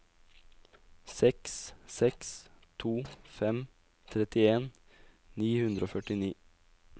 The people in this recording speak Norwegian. seks seks to fem trettien ni hundre og førtini